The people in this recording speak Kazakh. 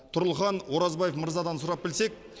тұрлыхан оразбаев мырзадан сұрап білсек